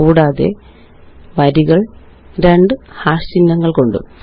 കൂടാതെ വരികള് രണ്ട് ഹാഷ് ചിഹ്നങ്ങള് കൊണ്ടും